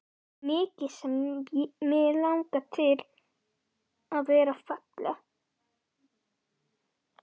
Mikið sem mig langaði til að vera falleg.